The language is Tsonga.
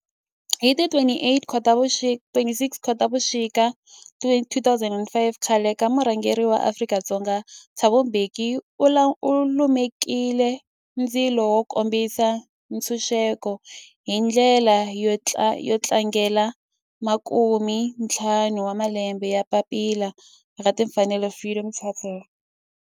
Hi ti 26 Khotavuxika 2005 khale ka murhangeri wa Afrika-Dzonga Thabo Mbeki u lumekile ndzilo wo kombisa ntshuxeko, hi ndlela yo tlangela makumentlhanu wa malembe ya papila ra timfanelo Freedom Charter.